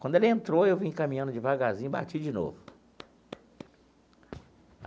Quando ela entrou, eu vim caminhando devagarzinho e bati de novo.